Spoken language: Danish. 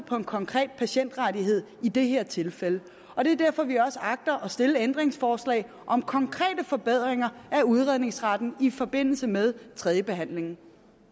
for en konkret patientrettighed i det her tilfælde og det er derfor at vi også agter at stille ændringsforslag om konkrete forbedringer af udredningsretten i forbindelse med tredjebehandlingen